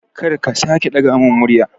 Kar ka sake ɗaga mun murya